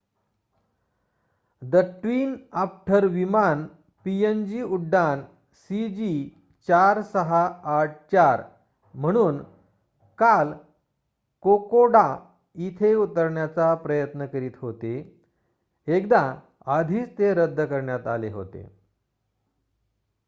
the Twin Otter विमान PNG उड्डाण सीजी4684 म्हणून काल कोकोडा इथे उतरण्याचा प्रयत्न करीत होते एकदा आधीच ते रद्द करण्यात आले होते